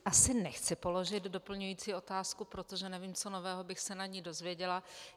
Asi nechci položit doplňující otázku, protože nevím, co nového bych se na ni dozvěděla.